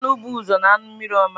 Anụ bụ ụzọ na anụ mmiri ọma.